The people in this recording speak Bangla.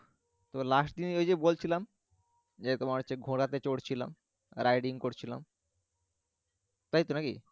তো last দিন ওই যে বলছিলাম যে তোমার হচ্ছে ঘোড়া তে চড়ছিলাম riding করছিলাম ইতো নাকি।